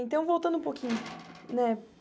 Então, voltando um pouquinho, né?